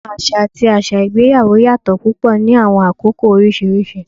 Awọn aṣa ati aṣa igbeyawo yatọ pupọ ni awọn akoko oriṣiriṣi